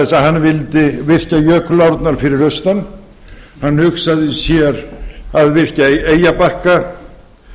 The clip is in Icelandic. hann vildi virkja jökulárnar fyrir austan hann hugsaði sér að virkja við eyjabakka